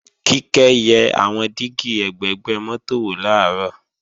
Kíkẹ́ yẹ àwọn dígí ẹ̀gbẹ̀gbẹ́ mọ́tò wò làárọ̀